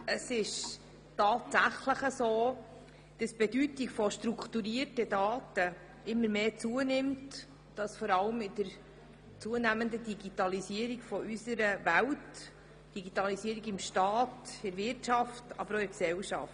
Es ist tatsächlich so, dass die Bedeutung strukturierter Daten immer mehr zunimmt, vor allem in der zunehmenden Digitalisierung unserer Welt: Digitalisierung im Staat, in der Wirtschaft, aber auch in der Gesellschaft.